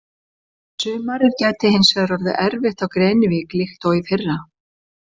Sumarið gæti hins vegar orðið erfitt á Grenivík líkt og í fyrra.